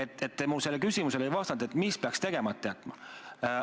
Te ei vastanud mu küsimusele, et mis peaks tegemata jätma.